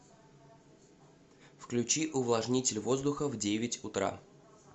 включи увлажнитель воздуха в девять утра